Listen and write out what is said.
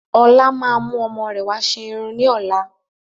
Ọlá máa mú ọmọ rẹ wà ṣe irun ni ọ̀la